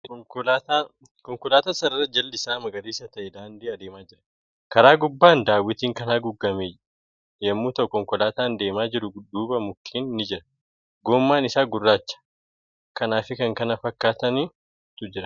Konkolaataan sararaa jalli isaa magariisa ta'e daandii adeemaa jira. Kara gubbaan daawwitiin kan haguugamee jira. Konkolaataa deema jiru duuba mukkeen ni jira. Gommaan isaa gurraacha .Kanaa fi kan kana fakkaaturu jira.